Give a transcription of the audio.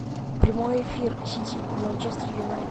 прямой эфир сити и манчестер юнайтед